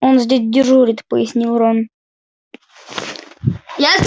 он здесь дежурит пояснил рон